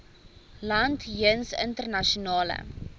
land jeens internasionale